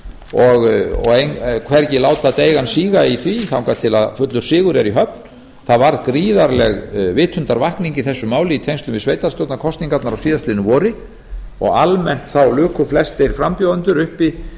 og hvergi láta deigan síga í því þangað til fullur sigur er í höfn það varð gríðarleg vitundarvakning í þessu máli í tengslum við sveitarstjórnarkosningarnar á síðastliðnu vori og almennt luku flestir frambjóðendur